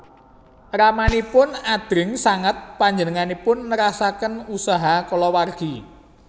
Ramanipun adreng sanget panjenenganipun nerasaken usaha kulawargi